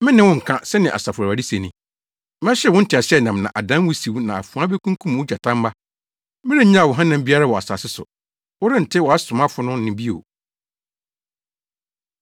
“Me ne wo nka,” sɛnea Asafo Awurade se ni, “Mɛhyew wo nteaseɛnam na adan wusiw na afoa bekunkum wo gyatamma. Merennyaw wo hanam biara wɔ asase so. Wɔrente wʼasomafo no nne bio.”